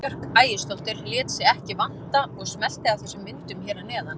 Eva Björk Ægisdóttir lét sig ekki vanta og smellti af þessum myndum hér að neðan.